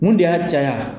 Mun de y'a caya